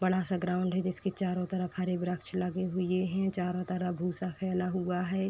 बड़ा-सा ग्राउंड है जिसके चारों तरफ हरे व्रक्ष लगे हुए हैं। चारो तरफ भूसा फैला हुआ है।